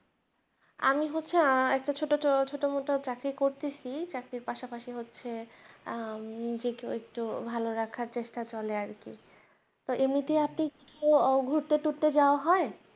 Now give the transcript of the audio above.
আমি হচ্ছে আহ একটা ছোট তো ছোট মতো চাকরি করতাছি চাকরির পাশাপাশি হচ্ছে আহ নিজে কেও একটু ভালো রাখার চেষ্টা চলে আরকি তা এমনিতে উহ ঘুরতে তুরতে যাওয়া হয়